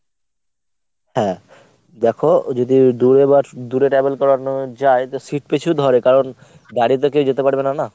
হ্যাঁ। দেখ যদি দুরে বা দূরে travel করানো যায় তো seat পিছু ধরে কারণদাঁড়িয়ে তো কেউ যেতে পারবে না না।